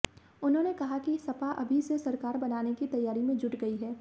उन्होंने कहा कि सपा अभी से सरकार बनाने की तैयारी में जुट गई है